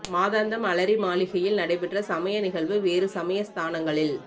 மாதாந்தம் அலரி மாளிகையில் நடைபெற்ற சமய நிகழ்வு வேறு சமய ஸ்தானங்களில்